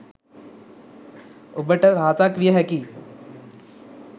ඔබ ට රහසක්‌ විය හැකියි.